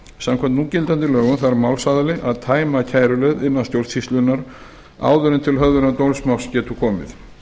samkvæmt núgildandi lögum þarf málsaðili að tæma kæruleið innan stjórnsýslunnar áður en til höfðunar dómsmáls getur komið